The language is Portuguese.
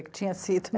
tinha sido?